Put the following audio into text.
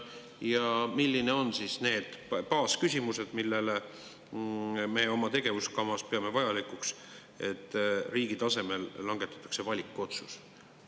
Ja millised on need baasküsimused, millele me oma tegevuskavas peame vajalikuks riigi tasemel langetada valikotsust?